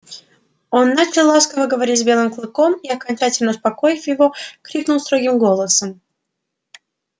он начал ласково говорить с белым клыком и окончательно успокоив его крикнул строгим голосом